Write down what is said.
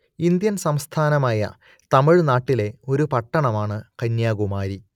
Indian സംസ്ഥാനമായ തമിഴ്നാട്ടിലെ ഒരു പട്ടണമാണ് കന്യാകുമാരി